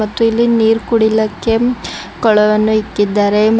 ಮತ್ತು ಇಲ್ಲಿ ನೀರ್ ಕುಡಿಲಕ್ಕೆ ಕೊಳವನ್ನು ಇಟ್ಟಿದ್ದಾರೆ ಮ--